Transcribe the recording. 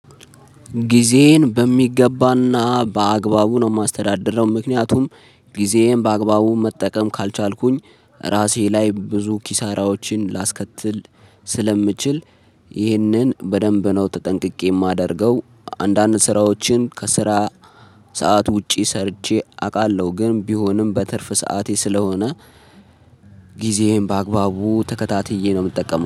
ጊዜዬን በሚገባና በአግባቡ ነው የማስተዳድረው ነው ምክንያቱም ጊዜዬን በአግባቡ መጠቀም ካልቻልኩኝ ራሴ ላይ ብዙ ኪሳራዎችን ላስከትል ስለምችል በደንብ ነው ተጠንቅቄ የማደርገው። አንዳንድ ስራዎችን ከስራ ሰዓት ውጪ ሰርቼ አውቃለሁ ግን ቢሆንም በትርፍ ሰዓቴ ስለሆነ ጊዜዬን በአግባቡ ተከታትዬ ነው የምጠቀመው